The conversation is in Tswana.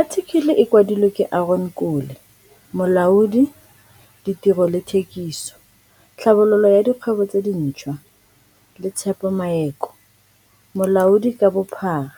Athikele e kwadilwe ke Aron Kole, Molaodi, Ditiro le Thekiso, Tlhabololo ya Dikgwebo tse Dintshwa le Tshepo Maeko, Molaodi ka bophara,